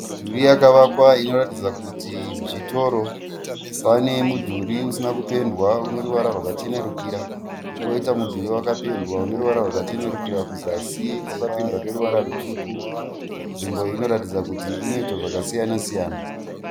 Midhuri wakavakwa inoratidza kuti zvitoro. Pane mudhuri usina kupendwa uneruvara rwakachenurikira. Koita mudhuri wakapendewa ineruvara rwakachenurikira kuzasi wakapendewa neruvara rutsvuku. Nzvimbo inoratidza kuti inoitwa zvakasiyana siyana